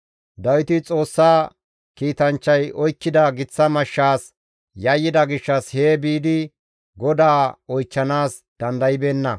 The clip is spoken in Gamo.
Dawiti Xoossa kiitanchchay oykkida giththa mashshaas yayyida gishshas hee biidi GODAA oychchanaas dandaybeenna.